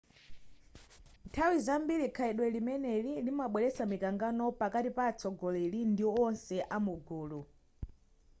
nthawi zambiri khalidwe limeneli limabweretsa mikangano pakati pa atsogoleri ndi wonse amugulu